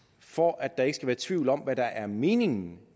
for at der ikke skal være tvivl om hvad der er meningen